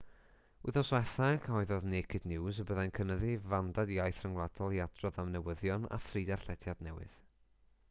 wythnos diwethaf cyhoeddodd naked news y byddai'n cynyddu'i fandad iaith rhyngwladol i adrodd am newyddion â thri darllediad newydd